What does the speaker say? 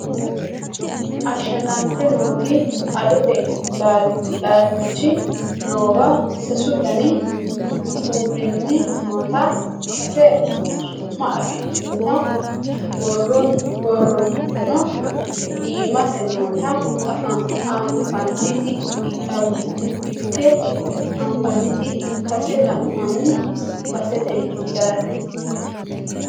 ashshagante nooti adote laalchi noowa sasu dani kuulinni noota sase su'ma afidhinota borrono iimase noota anfannit ikkase la'nanni baseeti yaate